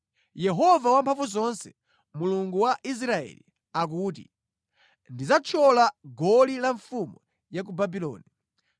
“Yehova Wamphamvuzonse, Mulungu wa Israeli, akuti, ‘Ndidzathyola goli la mfumu ya ku Babuloni.